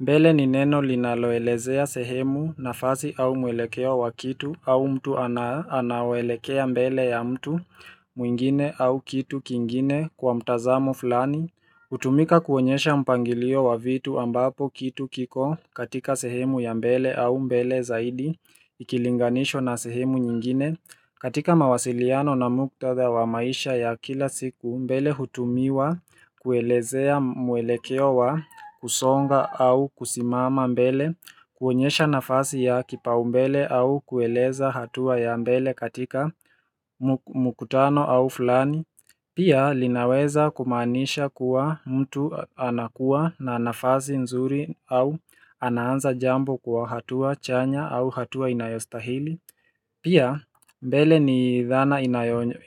Mbele ni neno linaloelezea sehemu, nafasi au mwelekoa wa kitu au mtu anawaelekea mbele ya mtu mwingine au kitu kingine kwa mtazamo fulani. Hutumika kuonyesha mpangilio wa vitu, ambapo kitu kiko katika sehemu ya mbele au mbele zaidi ikilinganishwa na sehemu nyingine. Katika mawasiliano na muktadha wa maisha ya kila siku, mbele hutumiwa kuelezea mwelekeo wa kusonga au kusimama mbele, kuonyesha nafasi ya kipaumbele au kueleza hatua ya mbele katika mkutano au fulani. Pia linaweza kumaanisha kuwa mtu anakuwa na nafasi nzuri au anaanza jambo kwa hatua chanya au hatua inayostahili. Pia mbele ni dhana